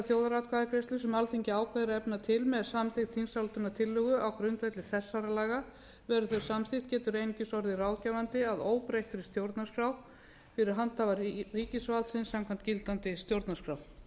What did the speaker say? þjóðaratkvæðagreiðslu sem alþingi ákveður að efna til með samþykkt þingsályktunartillögu á grundvelli þessara laga verði þau samþykkt getur einungis orðið ráðgefandi að óbreyttri stjórnarskrá fyrir handhafa ríkisvaldsins samkvæmt gildandi stjórnarskrá